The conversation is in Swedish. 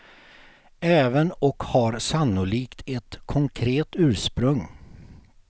Även och har sannolikt ett konkret ursprung.